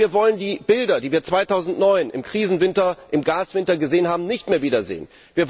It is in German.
Denn wir wollen die Bilder, die wir 2009 im Krisenwinter, im Gaswinter gesehen haben, nicht mehr wiedersehen.